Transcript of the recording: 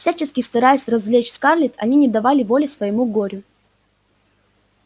всячески стараясь развлечь скарлетт они не давали воли своему горю